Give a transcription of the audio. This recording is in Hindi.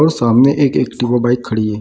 और सामने एक एक बाइक खड़ी है।